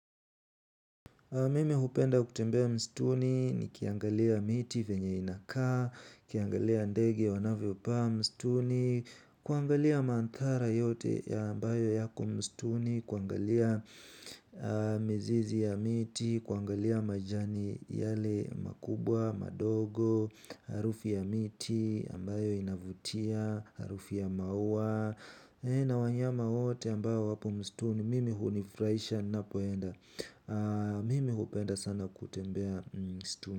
Mimi hupenda kutembea msituni nikiangalia miti venye inakaa, nikiangalia ndege wanavyo pa msituni, kuangalia manthara yote ya ambayo yako msituni, kuangalia mizizi ya miti, kuangalia majani yale makubwa, madogo, harufu ya miti ambayo inavutia, harufu ya maua, na wanyama wote ambao wapo msituni, mimi hunifurahisha ninapoenda. Mimi hupenda sana kutembea msituni.